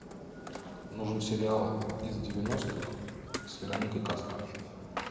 нужен сериал из девяностых с вероникой кастро